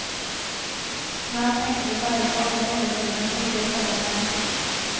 Snart tenker de bare på alle eventyrene som ligger foran dem.